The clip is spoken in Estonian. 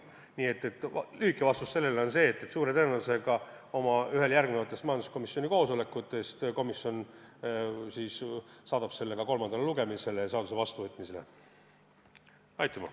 Nii et lühike vastus on järgmine: suure tõenäosusega saadab majanduskomisjon ühel oma järgnevatest koosolekutest selle eelnõu kolmandale lugemisele ja seaduse vastuvõtmise üle hääletamisele.